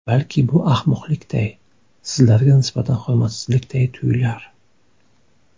Balki bu ahmoqlikday, sizlarga nisbatan hurmatsizlikday tuyular.